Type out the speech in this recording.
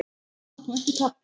Tap og ekki tap?